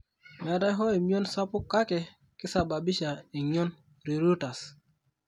meeta hoo emion sapuk kaake kesababisha eng'ion (pruritus).